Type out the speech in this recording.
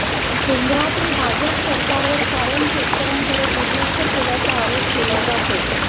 केंद्रातील भाजप सरकारवर कायम शेतकऱ्यांकडे दुर्लक्ष केल्याचा आरोप केला जातो